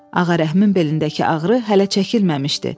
Ağarəhimin belindəki ağrı hələ çəkilməmişdi.